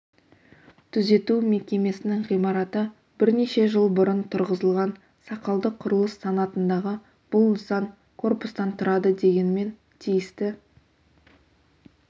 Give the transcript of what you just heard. түзету мекемесінің ғимараты бірнеше жыл бұрын тұрғызылған сақалды құрылыс санатындағы бұл нысан корпустан тұрады дегенмен тиісті